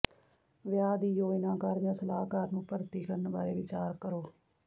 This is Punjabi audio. ਵਿਆਹ ਦੀ ਯੋਜਨਾਕਾਰ ਜਾਂ ਸਲਾਹਕਾਰ ਨੂੰ ਭਰਤੀ ਕਰਨ ਬਾਰੇ ਵਿਚਾਰ ਕਰੋ